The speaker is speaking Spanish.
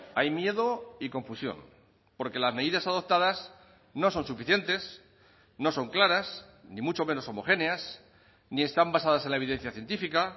hay miedo y confusión porque las medidas adoptadas no son suficientes no son claras ni mucho menos homogéneas ni están basadas en la evidencia científica